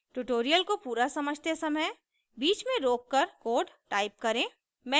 tutorial को पूरा समझते समय बीच में रोककर कोड टाइप करें